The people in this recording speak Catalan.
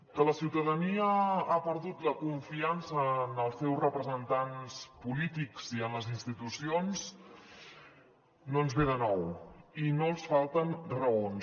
que la ciutadania ha perdut la confiança en els seus representants polítics i en les institucions no ens ve de nou i no els falten raons